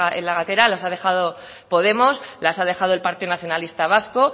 en la gatera las ha dejado podemos las ha dejado el partido nacionalista vasco